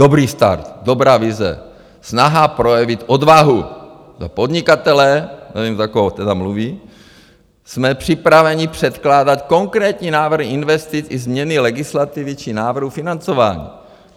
Dobrý start, dobrá vize, snaha projevit odvahu za podnikatele - nevím, za koho tedy mluví - jsme připraveni předkládat konkrétní návrhy investic i změny legislativy či návrhu financování.